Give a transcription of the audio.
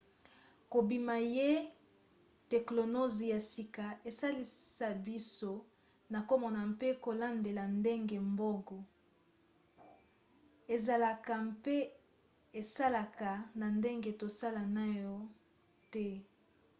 kobima ya teklonozi ya sika esalisa biso na komona mpe kolandela ndenge boongo ezalaka mpe esalaka na ndenge tosala naino te